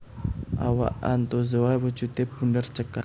Awak Anthozoa wujudé bunder cekak